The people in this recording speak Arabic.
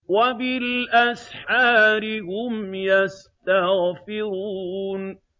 وَبِالْأَسْحَارِ هُمْ يَسْتَغْفِرُونَ